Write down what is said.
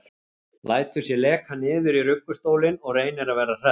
Lætur sig leka niður í ruggustólinn og reynir að vera hress.